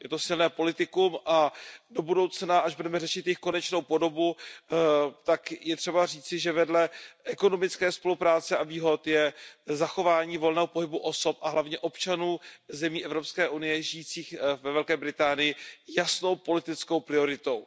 Je to silné politikum a do budoucna, až budeme řešit jejich konečnou podobu, tak je třeba říci, že vedle ekonomické spolupráce a výhod je zachování volného pohybu osob a hlavně občanů zemí EU žijících ve Velké Británii jasnou politickou prioritou.